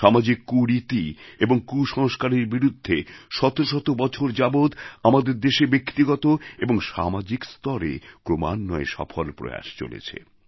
সামাজিক কুরীতি এবং কুসংস্কারের বিরুদ্ধে শত শত বছর যাবৎ আমাদের দেশে ব্যক্তিগত এবং সামাজিক স্তরে ক্রমান্বয়ে সফল প্রয়াস চলেছে